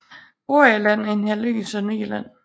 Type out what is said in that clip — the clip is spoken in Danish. Broager Land er en halvø i Sønderjylland